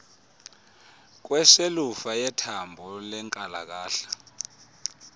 kweshelufa yethambo lenkalakahla